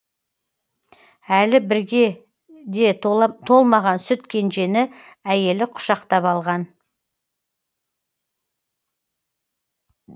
әлі бірге де толмаған сүт кенжені әйелі құшақтап алған